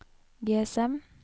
GSM